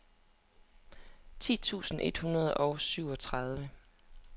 ti tusind et hundrede og syvogtredive